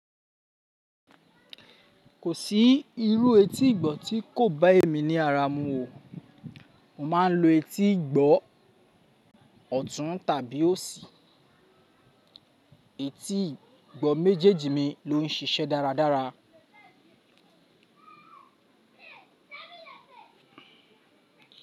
Kò sí irú etí ìgbọ́ tí kò bá èmi ní ara mu o. Mo máa ń lo etí ìgbọ́ ọ̀tún tàbí òsì. Etí ìgbọ́ méjèèjì mi ló ń ṣiṣẹ́ dáradára.